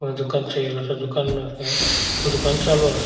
अ दुकान थईल दुकाना नस दुकान चालु अस.